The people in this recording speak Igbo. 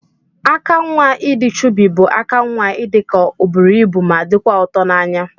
Aka nwa idi chubi bu aka nwa idika oburu ibu ma dikwa ụtọ na anya.